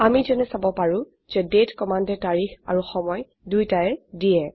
আমি যেনে চাব পাৰো যে দাঁতে কমান্ডে তাৰিখ আৰু সময় দুইটায়ে দিয়ে